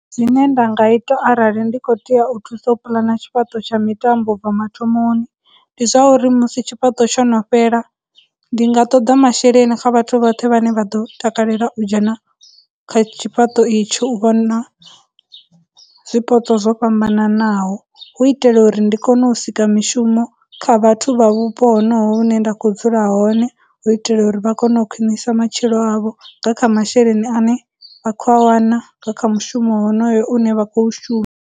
Zwine nda nga ita arali ndi khou tea u thusa puḽana tshifhaṱo tsha mitambo u bva mathomoni, ndi zwauri musi tshifhaṱo tsho no fhela, ndi nga ṱoḓa masheleni kha vhathu vhoṱhe vhane vha ḓo takalela u dzhena kha tshifhaṱo itsho u vhona zwipotso zwo fhambananaho, hu u itela uri ndi kone u sika mishumo kha vhathu vha vhupo honoho hune nda khou dzula hone u itela uri vha kone u khwinisa matshilo avho nga kha masheleni ane vha khou a wana nga kha mushumo honoyo une vha khou .